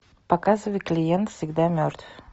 показывай клиент всегда мертв